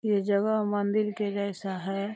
ये जगह मंदिल के जैसा है।